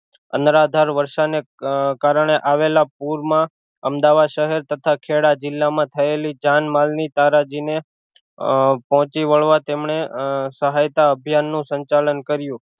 અનરાધાર વર્ષા ને કારણે આવેલા પૂર માં અમદાવાદ શહેર તથા ખેડા જિલ્લા માં થયેલી જાનમાલ ની તારાજી ને પોહચી વળવા તેમણે સહાયતા અભિયાન નું સંચાલન કર્યું